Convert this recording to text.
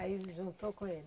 Aí juntou com ele.